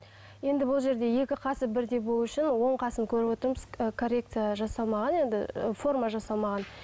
енді бұл жерде екі қасы бірдей болу үшін оң қасын көріп отырмыз коррекция жасамаған енді форма жасамаған